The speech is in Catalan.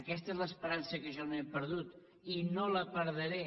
aquesta és l’esperança que jo no he perdut i no la perdré